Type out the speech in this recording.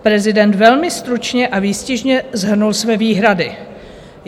Prezident velmi stručně a výstižně shrnul své výhrady.